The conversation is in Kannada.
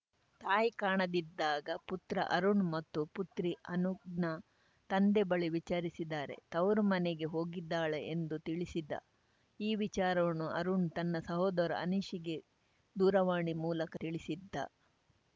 ತಾಯಿ ಕಾಣದಿದ್ದಾಗ ಪುತ್ರ ಅರುಣ್‌ ಮತ್ತು ಪುತ್ರಿ ಅನುಘ್ನ ತಂದೆ ಬಳಿ ವಿಚಾರಿಸಿದರೆ ತವರು ಮನೆಗೆ ಹೋಗಿದ್ದಾಳೆ ಎಂದು ತಿಳಿಸಿದ್ದ ಈ ವಿಚಾರವನ್ನು ಅರುಣ್‌ ತನ್ನ ಸೋದರ ಅನೀಶ್‌ಗೆ ದೂರವಾಣಿ ಮೂಲಕ ತಿಳಿಸಿದ್ದ